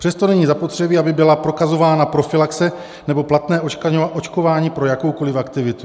Přesto není zapotřebí, aby byla prokazována profylaxe nebo platné očkování pro jakoukoliv aktivitu.